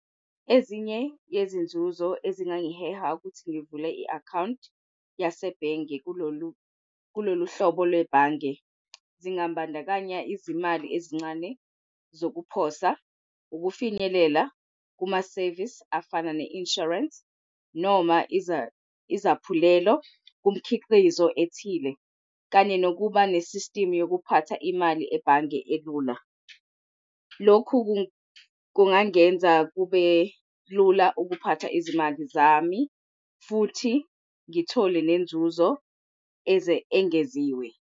Ezinye yezinzuzo ezingangiheha ukuthi ngivule i-akhawunti yasebhenge kulolu hlobo lwebhange zingabandakanya izimali ezincane zokuphosa ukufinyelela kuma-service afana ne-insurance noma izaphulelo kumkhiqizo ethile kanye nokuba ne-system yokuphatha imali ebhange elula. Lokhu kungangenza kube lula ukuphatha izimali zami futhi ngithole nenzuzo engeziwe.